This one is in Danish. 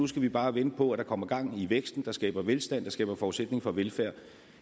skal vi bare vente på at der kommer gang i væksten der skaber velstand der skaber forudsætning for velfærd